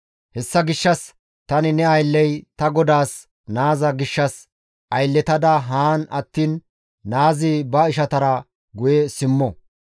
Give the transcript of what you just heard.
«Hessa gishshas tani ne aylley ta godaas naaza gishshas aylletada haan attiin naazi ba ishatara guye simmo.